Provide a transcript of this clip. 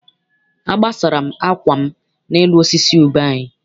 Agbasara m akwa m n'elu osisi ube anyị.